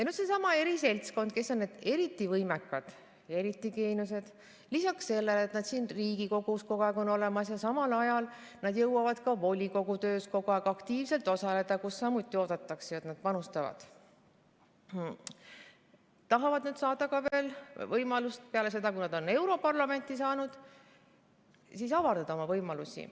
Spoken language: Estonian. Nüüd tahab seesama eriseltskond, kes on need eriti võimekad, eriti geeniused, lisaks sellele, et nad on siin Riigikogus kogu aeg olemas, jõuavad samal ajal kogu aeg aktiivselt osaleda ka volikogu töös, kus samuti oodatakse panustamist, veel peale seda, kui nad on europarlamenti saanud, avardada oma võimalusi.